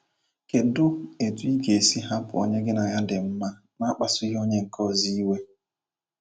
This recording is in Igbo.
Kedu etu ị ga - esi hapụ onye gị na ya di mma n’akpasughị onye nke ọzọ iwe? ”